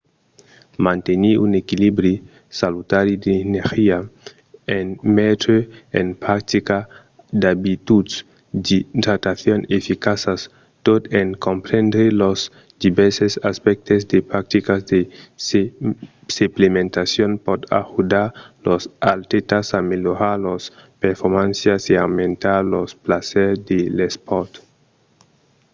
mantenir un equilibri salutari d'energia en metre en practica d'abituds d'idratacion eficaças tot en comprendre los divèrses aspèctes de practicas de suplementacion pòt ajudar los atlètas a melhorar lors performàncias e aumentar lor plaser de l'espòrt